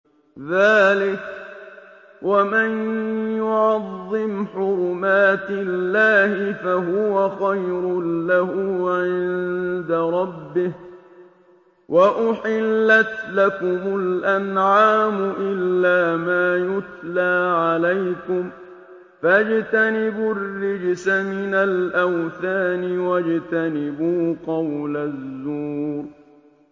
ذَٰلِكَ وَمَن يُعَظِّمْ حُرُمَاتِ اللَّهِ فَهُوَ خَيْرٌ لَّهُ عِندَ رَبِّهِ ۗ وَأُحِلَّتْ لَكُمُ الْأَنْعَامُ إِلَّا مَا يُتْلَىٰ عَلَيْكُمْ ۖ فَاجْتَنِبُوا الرِّجْسَ مِنَ الْأَوْثَانِ وَاجْتَنِبُوا قَوْلَ الزُّورِ